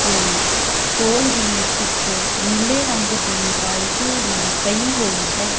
ਤੇ ਕੋਲ ਹੀ ਇੱਕ ਨੀਲੇ ਰੰਗ ਦੀ ਬਾਲਟੀ ਵੀ ਪਈ ਹੋਈ ਹੈ।